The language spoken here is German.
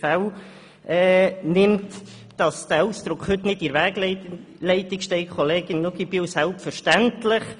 Kollegin Luginbühl, selbstverständlich steht dieser Ausdruck heute nicht in der Wegleitung.